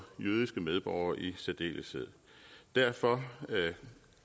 jødiske medborgere i særdeleshed derfor